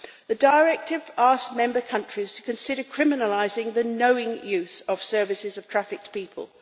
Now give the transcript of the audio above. The directive asked Member states to consider criminalising the knowing use of services of trafficked people.